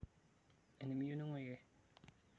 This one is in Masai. enimiyieu ningwiki